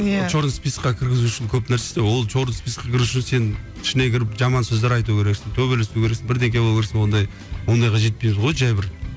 иә черный списокқа кіргізу үшін көп нәрсе істе ол черный списокқа кіру үшін сен ішіне кіріп жаман сөздер айту керексің төбелесу керексің бірдеңке болу керексің ондай ондайға жетпейміз ғой жай бір